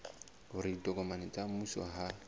hore ditokomane tsa mmuso ha